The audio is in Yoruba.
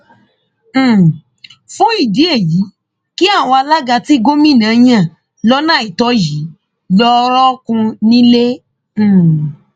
um fún ìdí èyí kí àwọn alága tí gómìnà yan lọnà àìtọ yìí lọọ rọọkùn nílẹ um